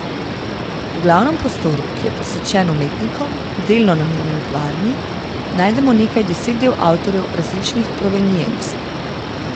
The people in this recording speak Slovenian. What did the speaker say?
V glavnem prostoru, ki je posvečen umetnikom, delno namenjen kavarni, najdemo nekaj deset del avtorjev različnih provenienc.